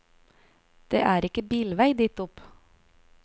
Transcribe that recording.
Det er ikke bilvei dit opp.